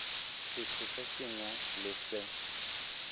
setho se sengwe le se